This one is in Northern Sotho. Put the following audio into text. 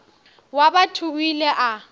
wa batho o ile a